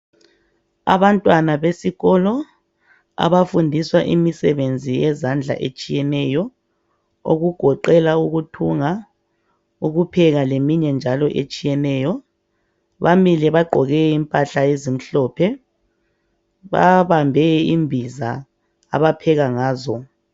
Abantwana besikolo abafundiswa imisebenzi yezandla etshiyeneyo okugoqela ukuthunga, ukupheka leminye njalo etshiyeneyo bamile bagqoke impahla ezimhlophe , bamile babambe imbiza abapheka ngazo.